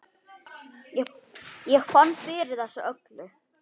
Ég fann fyrir þessu öllu.